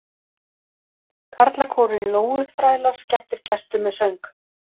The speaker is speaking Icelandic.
Karlakórinn Lóuþrælar skemmtir gestum með söng